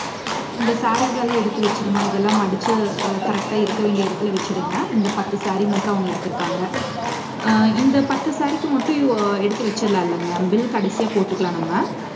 இந்த sarees எல்லாம் எடுத்து வச்சிரும்மா. இதெல்லாம் மடிச்சு correct ஆ இருக்க வேண்டிய இடத்துல வச்சிடுங்க. இந்த பத்து saree மட்டும் அவங்க எடுத்திருக்காங்க. அஹ் இந்த பத்து saree க்கு மட்டும் எடுத்து வச்சிடலாம் இல்லைங்க bill கடைசியா போட்டுக்கலாம் நம்ம